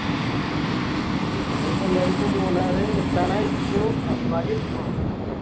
ആഹ് okay ഞങ്ങളിപ്പോ എല്ലാരും ഇപ്പൊ മൂന്നാറ് എത്താനായിക്ക്ണു അടിമാലി എത്തിക്കുണു